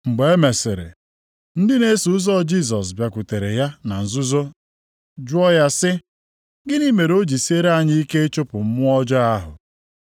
Mgbe e mesịrị, ndị na-eso ụzọ Jisọs bịakwutere ya na nzuzo jụọ ya sị, “Gịnị mere o ji siere anyị ike ịchụpụ mmụọ ọjọọ ahụ?”